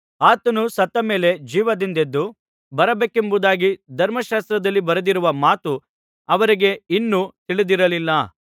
ಆತನು ಸತ್ತ ಮೇಲೆ ಜೀವದಿಂದೆದ್ದು ಬರಬೇಕೆಂಬುದಾಗಿ ಧರ್ಮಶಾಸ್ತ್ರದಲ್ಲಿ ಬರೆದಿರುವ ಮಾತು ಅವರಿಗೆ ಇನ್ನೂ ತಿಳಿದಿರಲಿಲ್ಲ